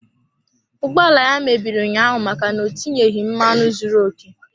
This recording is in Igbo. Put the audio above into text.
Ụgbọ ala ya mebiri ụnyaahụ maka na o tinyeghị mmanụ zuru okè.